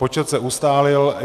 Počet se ustálil.